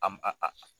A m a a